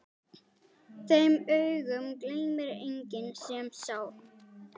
Þeim augum gleymir enginn sem sá.